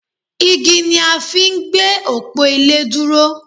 Igi ni a fi ń gbé òpó ilé dúró